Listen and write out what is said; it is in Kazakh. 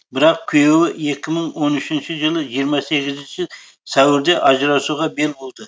бірақ күйеуі екі мың он үшінші жылы жиырма сегізінші сәуірде ажырасуға бел буды